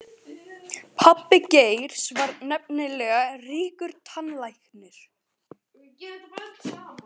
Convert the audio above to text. Pabbi Geirs var nefnilega ríkur tannlæknir.